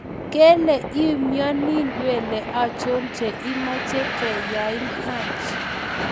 Kele iumnyoni ndwele anchon che imeche kenyain Haji.